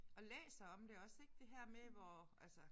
Og læser om det også ik det her med hvor altså